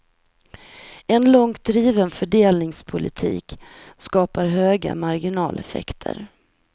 En långt driven fördelningspolitik skapar höga marginaleffekter.